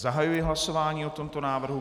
Zahajuji hlasování o tomto návrhu.